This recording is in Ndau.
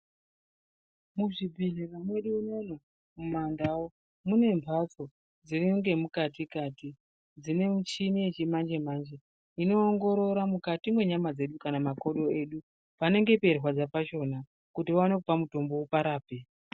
Muzvi bhehlera mwedu umo muma ndau mune mbatso dze mukati kati dzine michini yechi manje manje ino ongorora mukati me nyama dzedu kana makodo edu panenge pei rwadza kuti vaone kupa mutombo vapa rape .